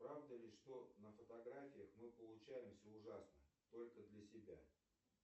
правда ли что на фотографиях мы получаемся ужасно только для себя